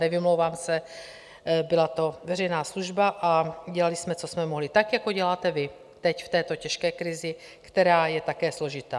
Nevymlouvám se, byla to veřejná služba a dělali jsme, co jsme mohli, tak jako děláte vy teď v této těžké krizi, která je také složitá.